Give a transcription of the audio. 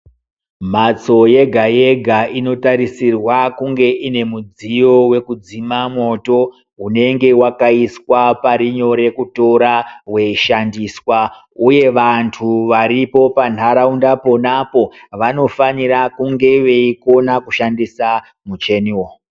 Mhatso yega yega inotarisirwa kunge ine mudziyo wekudzima mwoto unenge wakaiswa pari nyore kutora weishandiswa, Uye vantu varipo panharaunda ponapo vanofanira kunge veikona kushandisa mucheniwo.